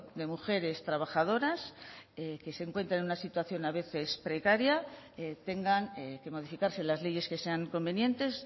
de mujeres trabajadoras que se encuentra en una situación a veces precaria tengan que modificarse las leyes que sean convenientes